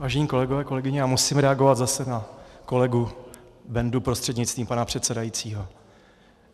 Vážení kolegové, kolegyně, já musím reagovat zase na kolegu Bendu prostřednictvím pana předsedajícího.